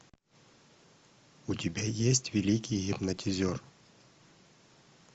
у тебя есть великий гипнотизер